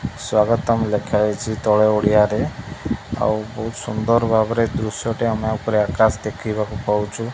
ସ୍ବାଗତମ୍ ଲେଖାହେଇଛି ତଳେ ଓଡ଼ିଆରେ ଆଉ ବହୁତ ସୁନ୍ଦର ଭାବରେ ଦୃଶ୍ଯଟେ ଆମେ ଉପରେ ଆକାଶରେ ଦେଖିବାକୁ ପାଉଛୁ।